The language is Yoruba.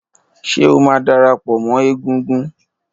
Ṣé o máa darapọ̀ mọ́ égúngún?